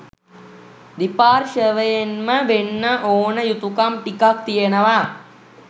දෙපාර්ශවයෙන්ම වෙන්න ඕනේ යුතුකම් ටිකක් තියෙනවා